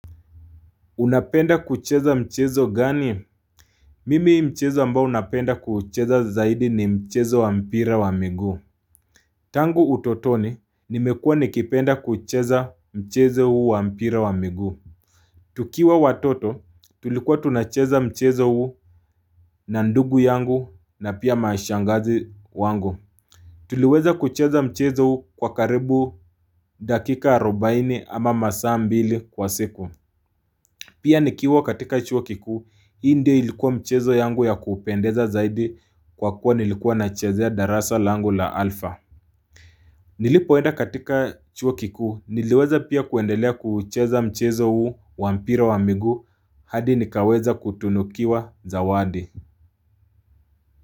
Unapenda kucheza mchezo gani? Mimi mchezo ambao unapenda kuucheza zaidi ni mchezo wa mpira wa miguu. Tangu utotoni, nimekuwa nikipenda kucheza mchezo huu wa mpira wa miguu. Tukiwa watoto, tulikuwa tunacheza mchezo huu na ndugu yangu na pia mashangazi wangu. Tuliweza kucheza mchezo huu kwa karibu dakika arubaini ama masaa mbili kwa siku. Pia nikiwa katika chuo kiku, hii ndio ilikuwa mchezo yangu ya kupendeza zaidi kwa kuwa nilikuwa na chezea darasa langu la alfa. Nilipoenda katika chuo kiku, niliweza pia kuendelea kuucheza mchezo huu wa mpira wa miguu, hadi nikaweza kutunukiwa zawadi.